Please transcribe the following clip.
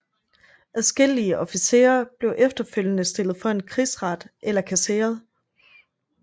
Adskillige officerer blev efterfølgende stillet for en krigsret eller kasseret